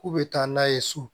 K'u bɛ taa n'a ye so